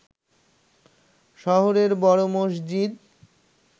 শহরের বড় মসজিদ